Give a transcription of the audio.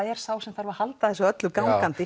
er sá sem þarf að halda þessu gangandi